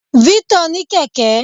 Victor ní kẹ̀kẹ́.